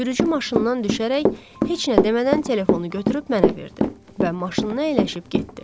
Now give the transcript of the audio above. Sürücü maşından düşərək heç nə demədən telefonu götürüb mənə verdi və maşınına əyləşib getdi.